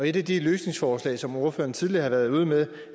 et af de løsningsforslag som ordføreren tidligere har været ude med